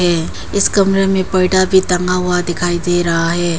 इस कमरे में पर्दा भी टंगा हुआ दिखाई दे रहा है।